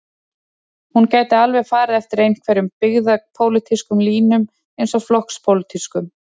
Hún gæti alveg farið eftir einhverjum byggðapólitískum línum eins og flokkspólitískum.